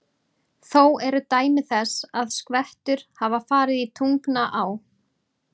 Þó eru dæmi þess, að skvettur hafa farið í Tungnaá.